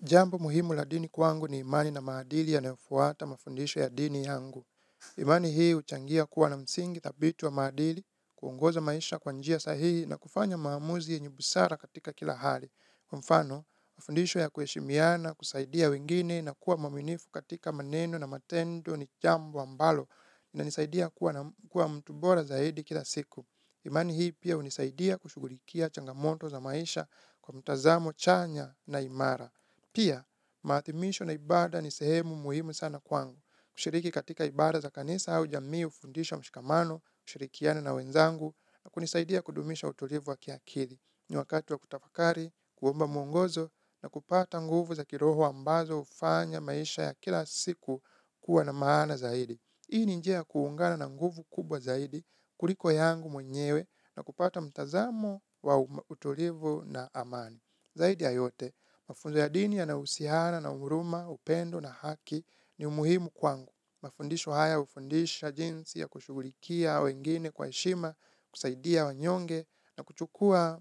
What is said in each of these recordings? Jambu muhimu la dini kwangu ni imani na maadili yanayofuata mafundisho ya dini yangu. Imani hii huchangia kuwa na msingi thabiti wa maadili, kuongoza maisha kwa njia sahihi na kufanya maamuzi yenye busara katika kila hali. Kwa mfano, mafundisho ya kuheshimiana, kusaidia wengine na kuwa mwaminifu katika maneno na matendo ni jambo ambalo inanisaidia kuwa mtu bora zaidi kila siku. Imani hii pia hunisaidia kushughulikia changamoto za maisha kwa mtazamo chanya na imara. Pia, maathimisho na ibada ni sehemu muhimu sana kwangu, kushiriki katika ibada za kanisa au jami hufundisha mshikamano, kushirikiana na wenzangu, na kunisaidia kudumisha utulivu wa kiakili. N wakati wa kutafakari, kuomba mwongozo, na kupata nguvu za kiroho ambazo hufanya maisha ya kila siku kuwa na maana zaidi. Hii ni njia kuungana na nguvu kubwa zaidi, kuliko yangu mwenyewe, na kupata mtazamo wa utulivu na amani. Zaidi ya yote, mafunzo ya dini yanahusiana na huruma, upendo na haki ni umuhimu kwangu. Mafundisho haya hufundisha jinsi ya kushughulikia wengine kwa heshima, kusaidia wanyonge na kuchukuwa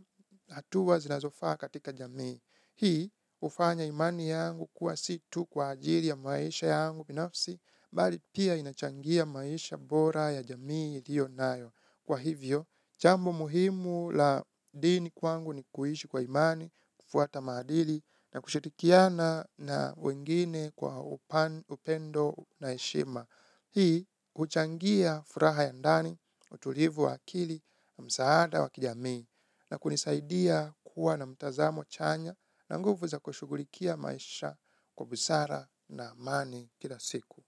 hatua zinazofaa katika jamii. Hii hufanya imani yangu kuwa si tu kwa ajili ya maisha yangu binafsi, bali pia inachangia maisha bora ya jamii iliyo nayo. Kwa hivyo, jambo muhimu la dini kwangu ni kuishi kwa imani, kufuata maadili na kushirikiana na wengine kwa upendo na heshima. Hii huchangia furaha ya ndani, utulivu wa akili na msaada wa kijamii na kunisaidia kuwa na mtazamo chanya na nguvu za kushughulikia maisha kwa busara na amani kila siku.